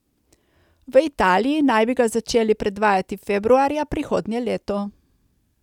V Italiji naj bi ga začeli predvajati februarja prihodnje leto.